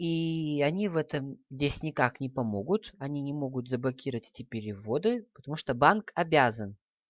и они в этом здесь никак не помогут они не могут заблокировать эти переводы потому что банк обязан